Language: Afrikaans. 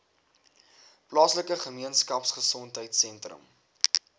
plaaslike gemeenskapgesondheid sentrum